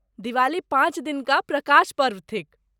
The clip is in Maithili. दिवाली पाँच दिनुका प्रकाश पर्व थिक।